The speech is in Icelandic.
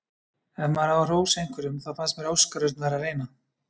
Ef maður á að hrósa einhverjum þá fannst mér Óskar Örn vera að reyna.